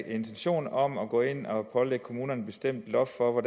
intentioner om at gå ind og pålægge kommunerne et bestemt loft for hvor